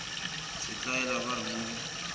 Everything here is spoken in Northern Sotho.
setlaela ba re mo go